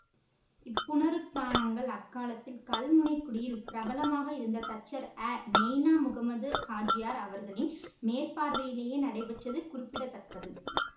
இப்புனருத்தானங்கள் அக்காலத்தில் கல்முனைக்குடியில் பிரபலமாக இருந்த தச்சர் அநெய்னா முகம்மது ஹாஜியார் அவர்களின் மேற்பார்வையிலேயே நடைபெற்றது குறிப்பிட தக்கது